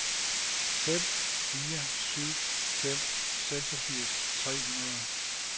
fem fire syv fem seksogfirs tre hundrede